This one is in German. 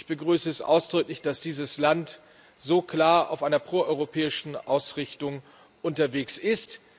Ich begrüße es ausdrücklich, dass dieses Land so klar auf einer proeuropäischen Ausrichtung unterwegs ist.